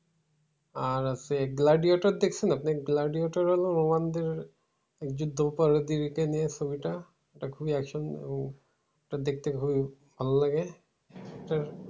আর আছে গ্লাডিয়েটর দেখছেন আপনি? গ্লাডিয়েটর হলো roman দের এই যে নিয়ে ছবিটা খুবই action এবং দেখতে খুবই ভালো লাগে।